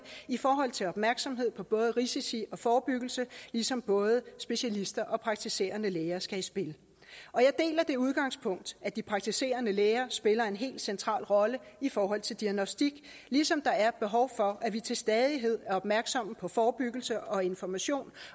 i forhold til opmærksomhed på både risici og forebyggelse ligesom både specialister og praktiserende læger skal i spil og jeg deler det udgangspunkt at de praktiserende læger spiller en helt central rolle i forhold til diagnostik ligesom der er et behov for at vi til stadighed er opmærksomme på forebyggelse og information